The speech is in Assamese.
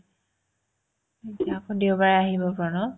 এতিয়া আক দেওবাৰে আহিব প্ৰণয়